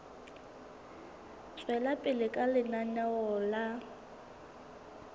tswela pele ka lenaneo la